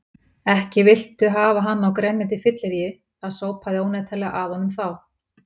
Ekki viltu hafa hann á grenjandi fylleríi, það sópaði óneitanlega að honum þá.